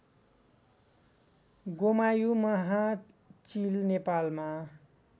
गोमायु महाचील नेपालमा